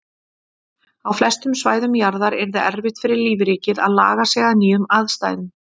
Á flestum svæðum jarðar yrði erfitt fyrir lífríkið að laga sig að nýjum aðstæðum.